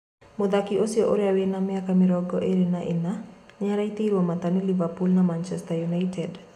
Mũthaki ũcio ũria wina miaka mĩrongo ĩrĩ na inya niaraiterwo mata ni Liverpool na Manchester United